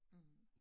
Mh